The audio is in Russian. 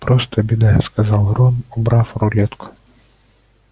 просто беда сказал рон убрав рулетку